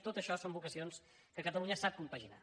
tot això són vocacions que catalu·nya sap compaginar